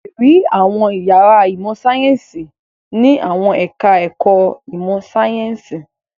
A le rí àwọn ìyàrá ìmọ̀-sáyẹ́ńsì ní àwọn ẹ̀ka-ẹ̀kọ́ ìmọ̀-sáyẹ́ńsì.